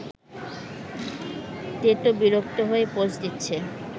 তেতো-বিরক্ত হয়ে পোজ দিচ্ছে